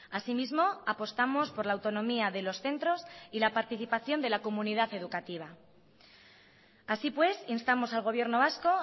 asimismo apostamos por la autonomía de los centros y la participación de la comunidad educativa así pues instamos al gobierno vasco